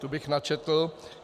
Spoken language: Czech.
Tu bych načetl.